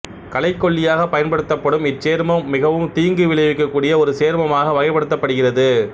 களைக்கொல்லியாகப் பயன்படுத்தப்படும் இச்சேர்மம் மிகவும் தீங்கு விளைவிக்கக்கூடிய ஒரு சேர்மமாக வகைப்படுத்தப்படுகிறது